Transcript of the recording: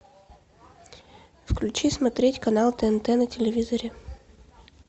включи смотреть канал тнт на телевизоре